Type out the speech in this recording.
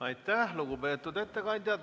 Aitäh, lugupeetud ettekandja!